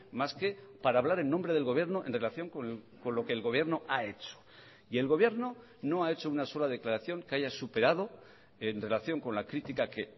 más que para hablar en nombre del gobierno en relación con lo que el gobierno ha hecho y el gobierno no ha hecho una sola declaración que haya superado en relación con la crítica que